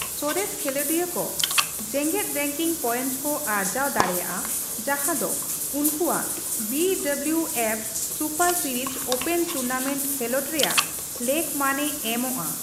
ᱥᱚᱨᱮᱥ ᱠᱷᱮᱞᱚᱸᱰᱤᱭᱟᱹ ᱠᱚ ᱡᱮᱜᱮᱫ ᱨᱮᱝᱠᱤᱝ ᱯᱚᱭᱮᱱᱴ ᱠᱚ ᱟᱨᱡᱟᱣ ᱫᱟᱲᱮᱭᱟᱜᱼᱟ ᱡᱟᱦᱟᱸ ᱫᱚ ᱩᱱᱠᱩᱣᱟᱜ B W F super series open tournament ᱠᱷᱮᱞᱚᱸᱰ ᱨᱮᱭᱟᱜ ᱞᱮᱠᱢᱟᱱᱼᱮ ᱮᱢᱚᱜᱼᱟ ᱾